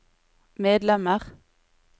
medlemmer